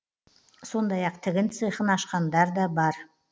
сондай ақ тігін цехын ашқандар да бар